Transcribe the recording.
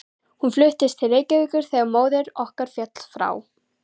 Hún fluttist til Reykjavíkur þegar móðir okkar féll frá.